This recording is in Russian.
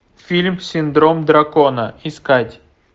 фильм синдром дракона искать